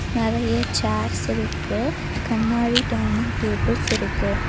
நறைய சேர்ஸ் இருக்கு கண்ணாடி டைனிங் டேபிள்ஸ் இருக்கு.